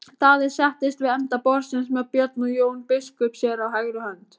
Daði settist við enda borðsins með Björn og Jón biskup sér á hægri hönd.